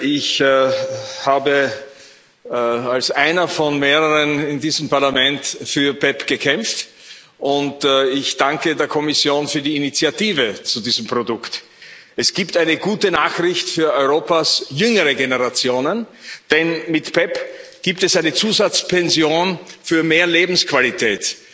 Ich habe als einer von mehreren in diesem Parlament für PEPP gekämpft, und ich danke der Kommission für die Initiative zu diesem Produkt. Es gibt eine gute Nachricht für Europas jüngere Generationen, denn mit PEPP gibt es eine Zusatzpension für mehr Lebensqualität